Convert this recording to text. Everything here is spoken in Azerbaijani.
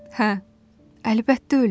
Hə, əlbəttə ölüb.